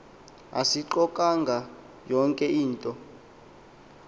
asiqukanga yonke into